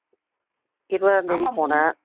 இருவதாம் தேதி போனேன்.